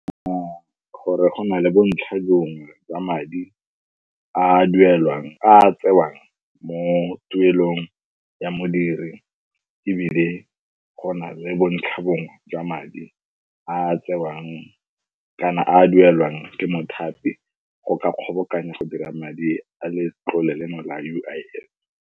Gore gona le bontlha bongwe jwa madi a a duelwang, a a tsewang mo tuelong ya modiri, ebile go na le bontlhabongwe jwa madi a a tsewang kana a a duelwang ke mothapi go ka kgobokanya go dira madi a letlole leno la U_I_F.